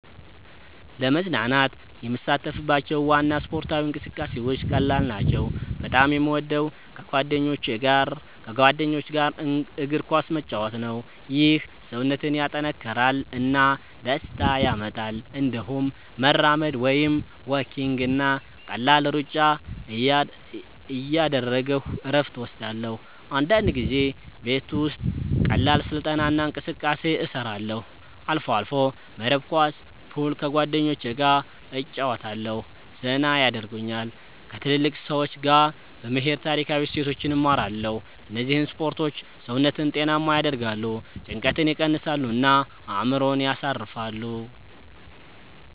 ለመዝናናት የምሳተፍባቸው ዋና ስፖርታዊ እንቅስቃሴዎች ቀላል ናቸው። በጣም የምወደው ከጓደኞች ጋር እግር ኳስ መጫወት ነው። ይህ ሰውነትን ያጠናክራል እና ደስታ ያመጣል። እንዲሁም መራመድ (walking) እና ቀላል ሩጫ እያደረግሁ እረፍት እወስዳለሁ። አንዳንድ ጊዜ ቤት ውስጥ ቀላል ስልጠና እና እንቅስቃሴ እሰራለሁ። አልፎ አልፎ መረብ ኳስ፣ ፑል ከጓደኞቸ ገ እጨረወታለሁ ዘና የደርጉኛል። ከትልልቅ ሰዎች ጋ በመሄድ ታሪካዊ እሴቶችን እማራለሁ እነዚህ ስፖርቶች ሰውነትን ጤናማ ያደርጋሉ፣ ጭንቀትን ይቀንሳሉ እና አእምሮን ያሳርፋሉ።